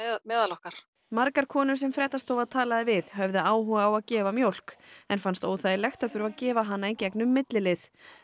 meðal okkar margar konur sem fréttastofa talaði við höfðu áhuga á að gefa mjólk en fannst óþægilegt að þurfa að gefa hana í gegnum millilið